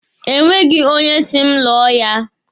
E nweghi onye si m lụọ ya.